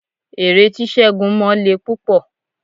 Ère tí ségun mọ le púpọ̀